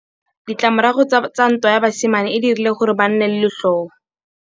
Ditlamorago tsa ntwa ya basimane e dirile gore ba nne le letlhôô.